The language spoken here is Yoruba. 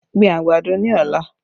Gbin àgbàdo ní ọ̀la!